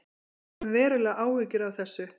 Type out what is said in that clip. Við höfum verulegar áhyggjur af þessu